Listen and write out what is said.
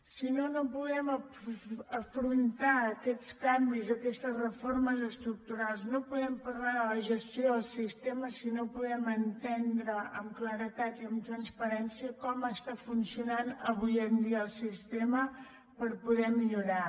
si no no podem afrontar aquests canvis aquestes reformes estructurals no podem parlar de la gestió del sistema si no podem entendre amb claredat i amb transparència com està funcionant avui en dia el sistema per poder millorar